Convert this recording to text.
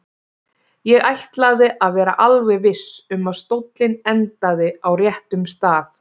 Ég ætlaði að vera alveg viss um að stóllinn endaði á réttum stað.